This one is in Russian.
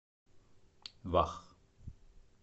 вах